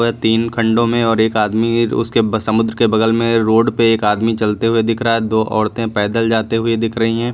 तीन खंडों में और एक आदमी भी उसके समुद्र के बगल में रोड पे एक आदमी चलते हुए दिख रहा है दो औरतें पैदल जाते हुए दिख रही हैं।